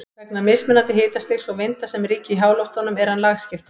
Vegna mismunandi hitastigs og vinda sem ríkja í háloftunum er hann lagskiptur.